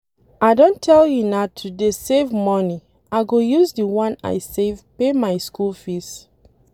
I don tell una to dey save money, I go use the one I save pay my school fees.